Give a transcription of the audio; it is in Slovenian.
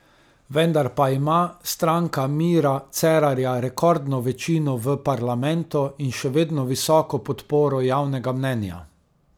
Vendar pa ima Stranka Mira Cerarja rekordno večino v parlamentu in še vedno visoko podporo javnega mnenja.